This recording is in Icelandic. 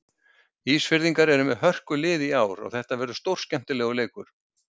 Ísfirðingar eru með hörkulið í ár og þetta verður stórskemmtilegur leikur.